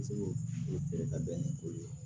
Segu feere ka bɛn ni o ye